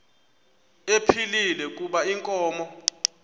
ephilile kuba inkomo